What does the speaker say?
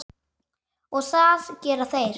Og það gera þeir.